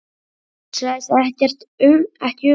Hugsaði sig ekki um!